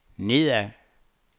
nedad